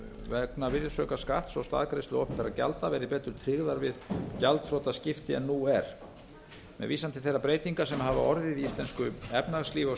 vegna virðisaukaskatts og staðgreiðslu opinberra gjalda verði betur tryggðar við gjaldþrotaskipti en nú er með vísan til þeirra breytinga sem orðið hafa í íslensku efnahagslífi á